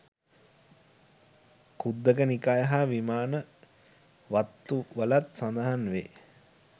ඛුද්දක නිකාය හා විමාන වත්ථු වලත් සඳහන් වෙයි